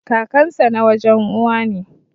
Kakansa na wajen Uwa ne.